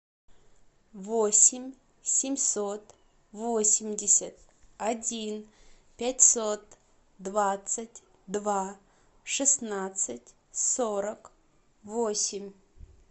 восемь семьсот восемьдесят один пятьсот двадцать два шестнадцать сорок восемь